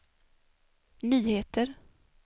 nyheter